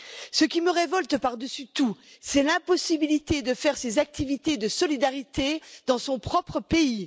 Ce qui me révolte par dessus tout, c'est l'impossibilité de mener ces activités de solidarité dans son propre pays.